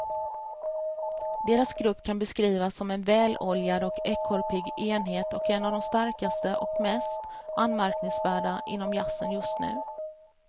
Deras grupp kan beskrivas som en väloljad och ekorrpigg enhet och en av de starkaste och mest anmärkningsvärda inom jazzen just nu.